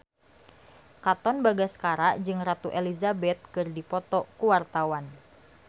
Katon Bagaskara jeung Ratu Elizabeth keur dipoto ku wartawan